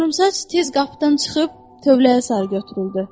Qıvrımsaç tez qapıdan çıxıb tövləyə sarı götürüldü.